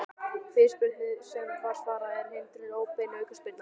Fyrirspurnir sem var svarað: Er hindrun óbein aukaspyrna?